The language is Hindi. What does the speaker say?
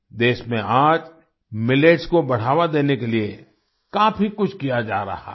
देश में आज मिलेट्स को बढ़ावा देने के लिए काफी कुछ किया जा रहा है